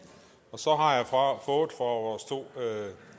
så har jeg fra vores to